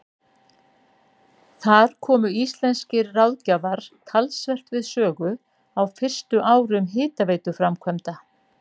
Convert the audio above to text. Þar komu íslenskir ráðgjafar talsvert við sögu á fyrstu árum hitaveituframkvæmda.